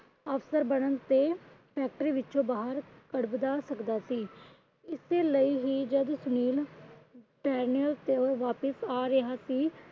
ਅਫਸਰ ਬਨਣ ਤੇ factory ਵਿੱਚੋ ਬਾਹਰ ਕੱਢਵਾ ਸਕਦਾ ਸੀ। ਇਸੇ ਲਈ ਵੀ ਜਦ ਸੁਨੀਲ ਤੇ ਵਾਪਿਸ ਆ ਰਿਹਾ ਸੀ।